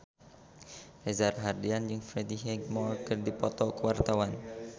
Reza Rahardian jeung Freddie Highmore keur dipoto ku wartawan